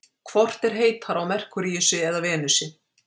Hvort er heitara á Merkúríusi eða Venusi?